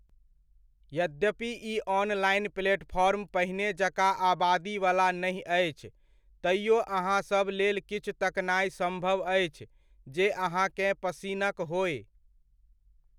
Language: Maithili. यद्यपि ई ऑनलाइन प्लेटफॉर्म पहिने जकाँ आबादीवला नहि अछि, तैओ अहाँसभक लेल किछु तकनाय सम्भव अछि, जे अहाँकेँ पसिनक होय।